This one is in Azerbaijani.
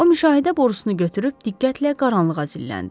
O müşahidə borusunu götürüb diqqətlə qaranlığa zilləndi.